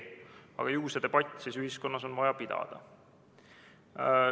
Aga ju on seda debatti siis ühiskonnas vaja pidada.